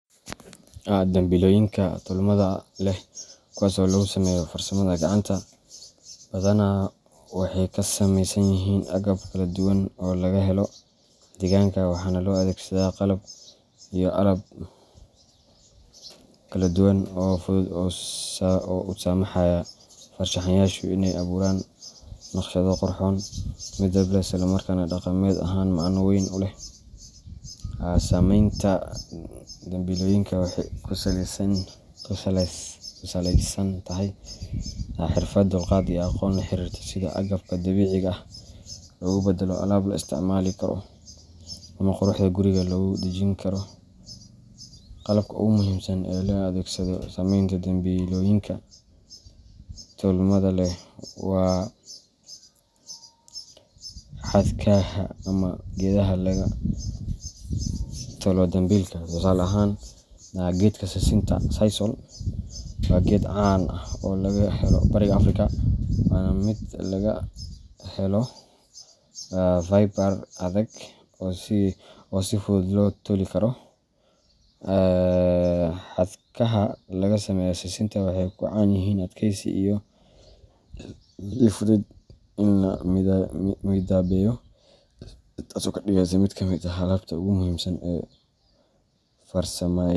Dambilooyinka tolmada leh kuwaas oo lagu sameeyo farsamada gacanta, badanaa waxay ka samaysan yihiin agab kala duwan oo laga helo deegaanka, waxaana loo adeegsadaa qalab iyo alaab kala duwan oo fudud oo u saamaxaya farshaxanayaashu inay abuuraan naqshado qurxoon, midab leh, isla markaana dhaqameed ahaan macno weyn u leh. Samaynta dambilooyinkan waxay ku salaysan tahay xirfad, dulqaad, iyo aqoon la xiriirta sida agabka dabiiciga ah loogu beddelo alaab la isticmaali karo ama quruxda guriga lagu dhejin karo. Qalabka ugu muhiimsan ee loo adeegsado samaynta dambilooyinka tolmada leh waa xadhkaha ama geedaha laga tolo dambilka. Tusaale ahaan, geedka sisinta sisal waa geed caan ah oo laga helo bariga Afrika, waana mid laga helo fiber adag oo si fudud loo toli karo. Xadhkaha laga sameeyo sisinta waxay caan ku yihiin adkeysi iyo u fudayd in la midabeeyo, taasoo ka dhigaysa mid ka mid ah alaabta ugu muhiimsan ee farsama.